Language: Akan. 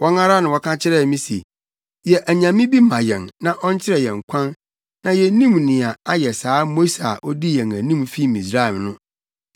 Wɔn ara na wɔka kyerɛɛ me se, ‘Yɛ onyame bi ma yɛn na ɔnkyerɛ yɛn kwan na yennim nea ayɛ saa Mose a odii yɛn anim fii Misraim no.’